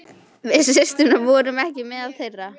Við systurnar vorum ekki meðal þeirra.